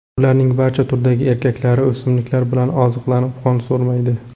Ularning barcha turdagi erkaklari o‘simliklar bilan oziqlanib, qon so‘rmaydi.